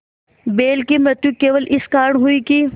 बैल की मृत्यु केवल इस कारण हुई कि